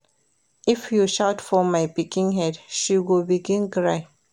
If you shout for my pikin head, she go begin cry.